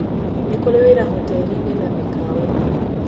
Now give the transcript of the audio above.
Nĩ kũrĩ wĩra hoteri-inĩ na mĩkawa-inĩ.